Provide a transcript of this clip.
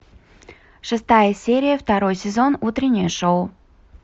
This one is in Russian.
шестая серия второй сезон утреннее шоу